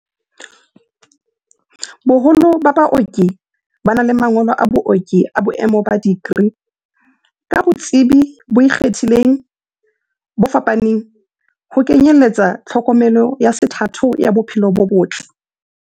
Boholo ba baoki ba na le mangolo a booki a boemo ba dikri, ka botsebi bo ikgethileng bo fapaneng, ho kenyeletsa tlhokomelo ya sethatho ya bo phelo bo botle.